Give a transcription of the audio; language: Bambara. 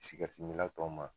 ni k'anw ma